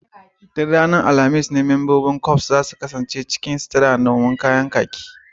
Duk ranar alhamis ne membobin Corp za su kasance cikin sutura a can cikin kayan kakki